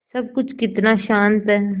सब कुछ कितना शान्त है